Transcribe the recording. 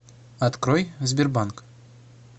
открой сбербанк